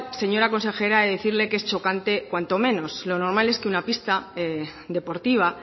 señora consejera he de decirle que es chocante cuanto menos lo normal es que una pista deportiva